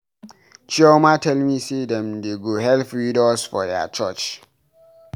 Chioma tell me say dem dey go help widows for their church.